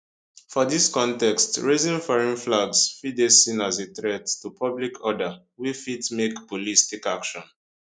for dis context raising foreign flags fit dey seen as a threat to public order wey fit make police take action